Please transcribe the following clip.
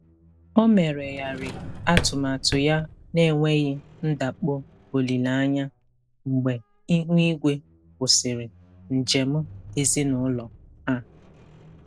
O meregharị atụmatụ ya n'enweghị ndakpọ olileanya mgbe ihu igwe kwụsịrị njem ezinụlọ ha.